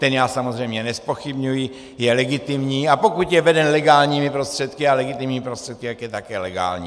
Ten já samozřejmě nezpochybňuji, je legitimní, a pokud je veden legálními prostředky a legitimními prostředky, tak je také legální.